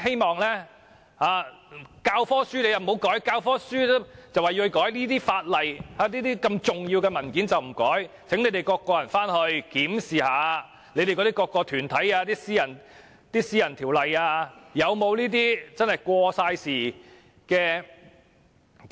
當局說教科書要修改，但這些法例及重要的文件卻不修改，請回去檢視各團體以私人法案形式訂立的條例，是否有這些過時的條文？